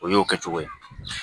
O y'o kɛ cogo ye